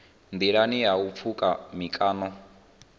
nḓilani ha u pfuka mikano